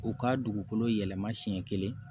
U ka dugukolo yɛlɛma siɲɛ kelen